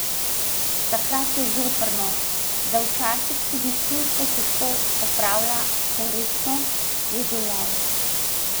Takrat je zoprno, da včasih tudi službo težko opravlja korektno, je dejal.